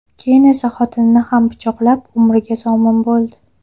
Keyin esa xotinini ham pichoqlab, umriga zomin bo‘ldi.